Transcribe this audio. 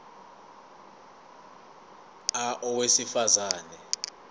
a owesifaz ane